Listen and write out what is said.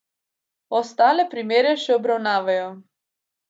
Ostale primere še obravnavajo.